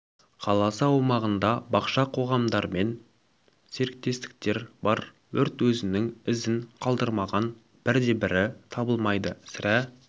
қаласы аумағында бақша қоғамдармен серіктестіктер бар өрт өзінің ізін қалдырмаған бір де бірі табылмайды сірә